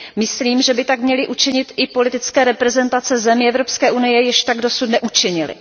Myslím, že by tak měly učinit i politické reprezentace zemí Evropské unie, jež tak dosud neučinily.